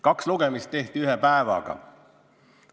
Kaks lugemist tehti ühe päevaga.